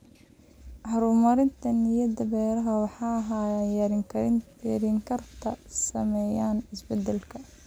Horumarinta nidaamyada beeraha waara waxay yareyn kartaa saameynta isbedelka.